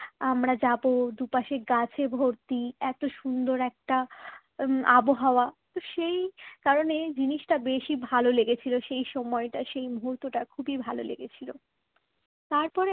আমরা যাব দুপাশে গাছে ভর্তি এত সুন্দর একটা উম আবহাওয়া তো সেই কারণে জিনিসটা বেশি ভালো লেগেছিল সেই সময়টা সেই মুহূর্তটা খুবই ভালো লেগেছিল তারপর